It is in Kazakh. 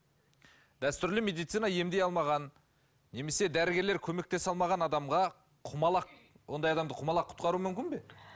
дәстүрлі медицина емдей алмаған немесе дәрігерлер көмектесе алмаған адамға құмалақ ондай адамды құмалақ құтқару мүмкін бе